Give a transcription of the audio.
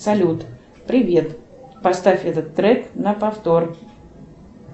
салют привет поставь этот трек на повтор